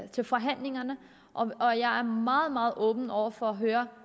til forhandlingerne og jeg er meget meget åben over for at høre